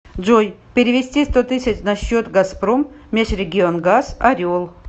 джой перевести сто тысяч на счет газпром межрегионгаз орел